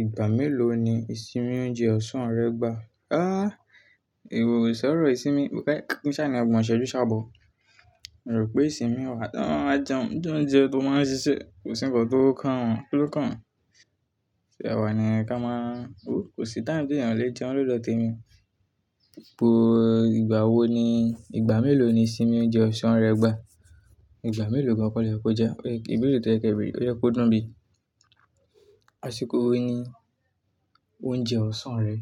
Ìgbà mélòó ni ìsinmi oúnjẹ ọ̀sán rẹ gbà? Áàh! Ìwòsàn ọ̀rọ̀ ìsinmi bẹ́ẹ̀, kín sáà ọgbọ́n ṣẹ́jú ṣábọ̀. Mo rò pé ìsinmi wà tán, a jẹun lóúnjẹ tó máa ń ṣiṣẹ́ kò sí ń bọ̀ tó kàn án, kí ló kàn án? Ṣé àwa ni ẹ ka máa ń? Ó kò sí táìmù tí ènìyàn lè jẹun lọ́ dọ̀ témi. Po ìgbà wo ni, ìgbà mélòó ni ìsinmi oúnjẹ ọ̀sán rẹ gbà? Ìgbà mélòó ni ọ̀pọ̀lọpọ̀ ẹ je, ẹgbẹ́ ìbéèrè tí ẹ kí èmi, ó yẹ kó dúró bí. Àṣìkò wo ni oúnjẹ ọ̀sán rẹ